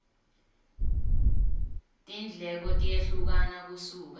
tindleko tiyehlukana kusuka